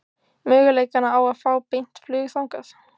Möguleikana á að fá beint flug þangað?